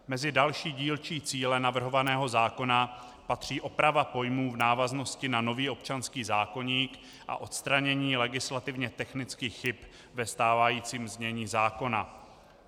Mezi další dílčí cíle navrhovaného zákona patří oprava pojmů v návaznosti na nový občanských zákoník a odstranění legislativně technických chyb ve stávajícím znění zákona.